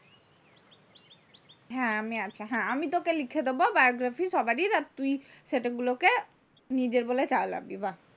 হ্যাঁ, আমি আছি। হ্যাঁ আমি তোকে লিখে দেবো biography সবারির আর তুই সেইগুলোকে নিজের বলে চালাবি। বাহ্